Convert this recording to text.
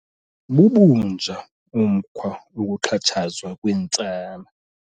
Bubunja umkhwa wokuxhatshazwa kweentsana.